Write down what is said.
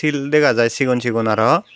sil dega jai sigon sigon aro.